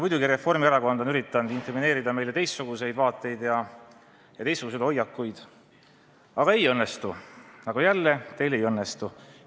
Muidugi, Reformierakond on üritanud inkrimineerida meile teistsuguseid vaateid ja teistsuguseid hoiakuid, aga ei õnnestu, jälle teil ei õnnestu.